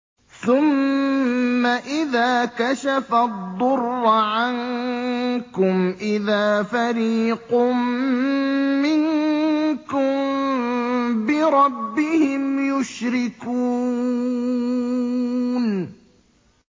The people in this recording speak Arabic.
ثُمَّ إِذَا كَشَفَ الضُّرَّ عَنكُمْ إِذَا فَرِيقٌ مِّنكُم بِرَبِّهِمْ يُشْرِكُونَ